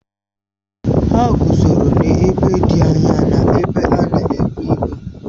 Ha guzo n'ebe dị anya n'ebe a na-ebu ibu